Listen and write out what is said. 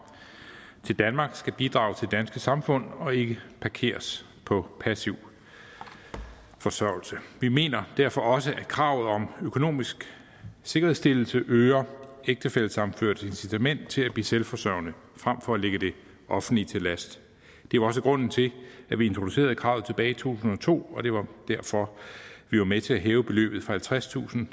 til danmark skal bidrage til det danske samfund og ikke parkeres på passiv forsørgelse vi mener derfor også at kravet om økonomisk sikkerhedsstillelse øger ægtefællesammenførtes incitament til at blive selvforsørgende frem for at ligge det offentlige til last det var også grunden til at vi introducerede kravet tilbage i to tusind og to og det var derfor vi var med til at hæve beløbet fra halvtredstusind